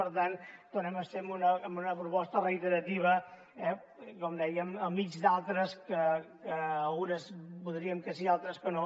per tant tornem a ser amb una proposta reiterativa eh com dèiem enmig d’altres en què algunes votaríem que sí i altres que no